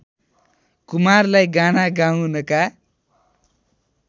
कुमारलाई गाना गाउनका